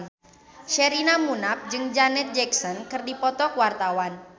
Sherina Munaf jeung Janet Jackson keur dipoto ku wartawan